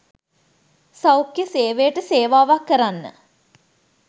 සෞඛ්‍ය සේවයට සේවාවක් කරන්න.